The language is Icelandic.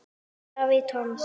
David Toms